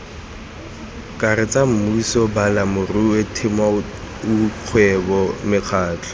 karetsa mmuso balemirui temothuokgwebo mekgatlho